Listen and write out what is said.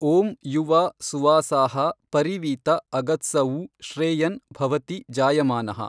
ಓಂ ಯುವಾ ಸುವಾಸಾಹಾ ಪರಿವೀತ ಆಗಾತ್ಸಊ ಶ್ರೇಯನ್ ಭವತಿ ಜಾಯಮಾನಃ।